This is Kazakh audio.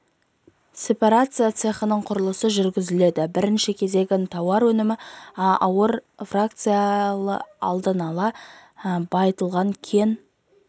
сепарация цехының құрылысы жүргізіледі бірінші кезегін тауар өнімін ауыр фракциялы алдын ала байытылған кен